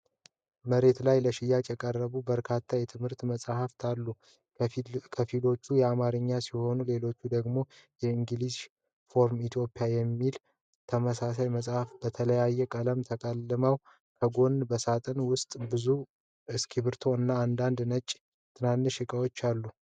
መሬት ላይ ለሽያጭ የቀረቡ በርካታ የትምህርት መጽሐፍት አሉ። ከፊሎቹ የአማርኛ ሲሆኑ ሌሎች ደግሞ 'ኢንግሊሽ ፎር ኢትዮጵያ' ተብለው ተሰይመዋል። መጽሐፎቹ በተለያዩ ቀለሞች ተቆልለዋል። ከጎናቸው በሳጥን ውስጥ ብዙ እስክሪብቶዎች እና አንዳንድ ነጭ ትናንሽ እቃዎች አሉ።